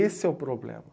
Esse é o problema.